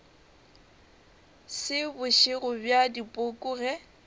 se bošego bja dipoko ge